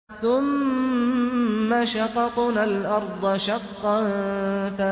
ثُمَّ شَقَقْنَا الْأَرْضَ شَقًّا